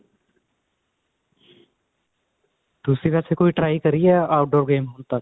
ਤੁਸੀਂ ਵੇਸੇ ਕੋਈ try ਕਰੀ ਏ outdoor games ਹੁਣ ਤੱਕ